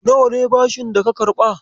Nawa ne bashin daka karɓa?